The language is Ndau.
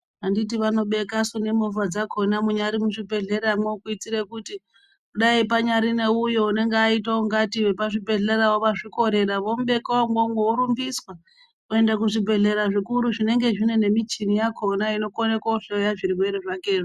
Anditi vanobekasuu nemovha dzakhona munyari muzvibhedhleramwo kuitire kuti dai panyari neuyo unenge aita ungati wepazvibhedhlerawo wazvikorera vomubeka umwomwo vorumbiswa kuenda kuzvibhedhlera zvikuru zvinenge zvine nemichini yakhona inokona koohloya zvirwere zvakezvo.